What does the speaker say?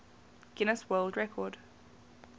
guinness world record